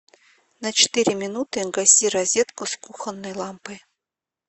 на четыре минуты гаси розетку с кухонной лампой